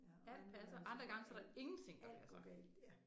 Ja og andre gange så går alt alt går galt ja